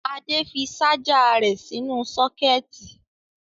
Adé fi ṣáájà rẹ̀ nínú sọ́kẹ́tì.